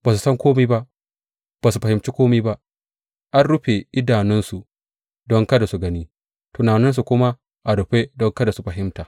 Ba su san kome ba, ba su fahimci kome ba; an rufe idanunsu don kada su gani, tunaninsu kuma a rufe don kada su fahimta.